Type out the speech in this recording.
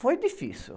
Foi difícil.